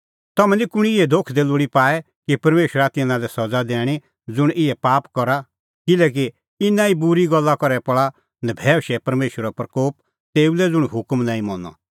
तम्हैं निं कुंणी इहै धोखै दी लोल़ी पाऐ कि परमेशरा तिन्नां लै सज़ा दैणीं ज़ुंण इहै पाप करा किल्हैकि इना ई बूरी गल्ला करै पल़ा नभैऊशै परमेशरो प्रकोप तेऊ लै ज़ुंण हुकम नांईं मना